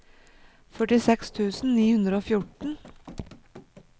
førtiseks tusen ni hundre og fjorten